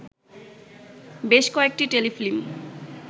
বেশ কয়েকটি টেলিফিল্ম